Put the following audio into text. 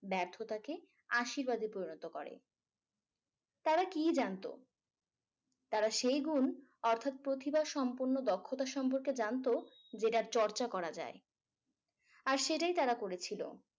ব্যর্থতাকে আশীর্বাদে পরিণত করে তারা কি জানতো তারা সেই গুন অর্থাৎ প্রতিভাসম্পন্ন দক্ষতা সম্পর্কে জানতো যেটা চর্চা করা যায় আর সেটাই তারা করেছিল